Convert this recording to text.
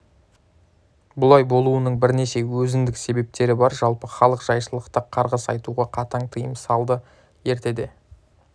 бұлай болуының бірнеше өзіндік себептері бар жалпы халық жайшылықта қарғыс айтуға қатаң тыйым салады ертеде